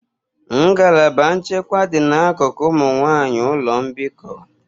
Ngalaba nchekwa dị n'akụkụ ụmụ nwanyị ụlọ mbikọ.